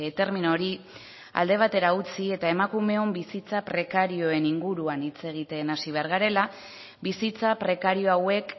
termino hori alde batera utzi eta emakumeon bizitza prekarioen inguruan hitz egiten hasi behar garela bizitza prekario hauek